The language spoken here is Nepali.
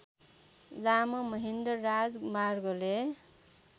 लामो महेन्द्र राजमार्गले